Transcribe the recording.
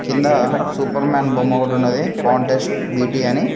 కింద Superman బొమ్మ ఒకటి ఉన్నది కాంటెస్ట్ బి_టి అని.